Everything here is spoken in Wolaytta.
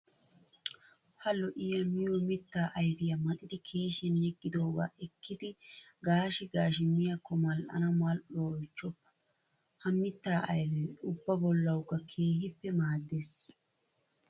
Ha lo'iya miyo mitta ayfiya maxxiddi keeshiyan yegidooga ekkiddi gaashi gaashi miyaako mali'anna mal'uwaa oychoppa! Ha mita ayfe ubba bollawukka keehippe maaddees.